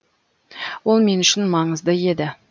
ол мен үшін маңызды еді